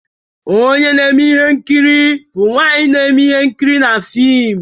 Onye na-eme ihe nkiri bụ nwanyị na-eme ihe nkiri na fim